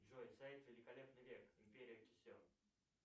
джой сайт великолепный век империя кесем